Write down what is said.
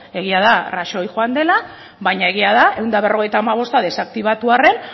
egia da rajoy joan egin dela baina egia da ehun eta berrogeita hamabosta desaktibatu arren